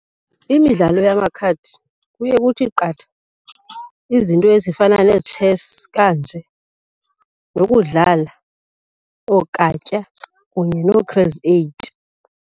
Imidlalo yamakhadi kuye kuthi qatha izinto ezifana neetshesi kanje nokudlala ookatya kunye noo-crazy eight.